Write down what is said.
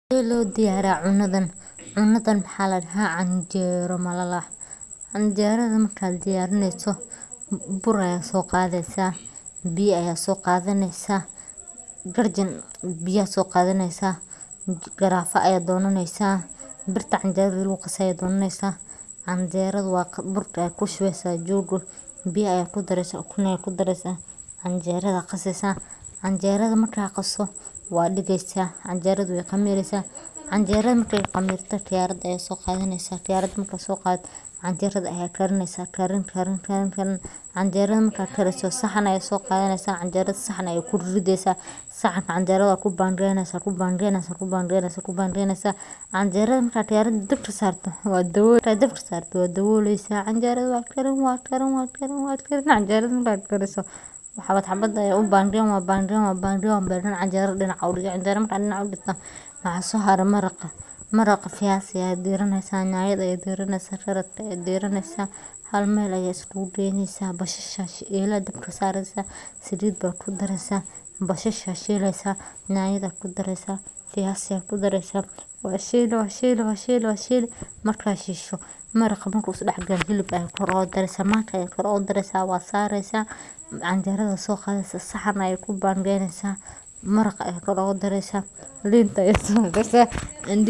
Canjeero waa cunto dhaqameed muhiim ah oo si weyn loogu yaqaan dalka Itoobiya, waxaana laga sameeyaa bur masago, galley ama sarreen ah oo la qaso lagana sameeyo cajiin khafiif ah. Canjeeradu waxay leedahay qaab wareegsan, waxayna dusheeda ka tahay mid daloolo leh, taas oo ka dhalata habka khamiirka dabiiciga ah ee lagu sameeyo. Dadka Itoobiya waxay canjeerada u cunaan si maalinle ah, waxaana badanaa lala cunaa suugada hilibka, khudradda ama digirta, iyadoo laga dhigo casho ama quraac. Marka canjeerada la diyaarinayo, cajiinka ayaa lagu reebaa habeenkii oo dhan si uu u khamiirmo, subaxdii ayaana lagu dubaa meel dusheeda kulul sida looxa birta ah ama dheri gaar ah. Canjeeradu ma aha oo kaliya cunto, balse waa astaan dhaqameed oo qoto dheer u leh bulshada Itoobiya, gaar ahaan beelaha Amxaarada iyo Tigreega.